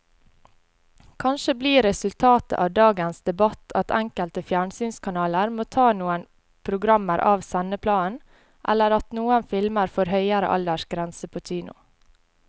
Kanskje blir resultatet av dagens debatt at enkelte fjernsynskanaler må ta noen programmer av sendeplanen eller at noen filmer får høyere aldersgrense på kino.